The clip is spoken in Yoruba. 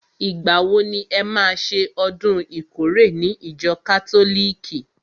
Ìgbà wo ni e má ṣe ọdún ìkórè ní ìjọ kátólìkì?